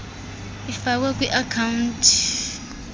ifakwe kwi account